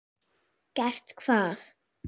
Gert hvað?